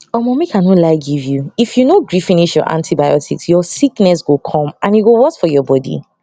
omo make i no lie give you if you no gree finish your antibiotics ur sickness go come and e go worst for ur body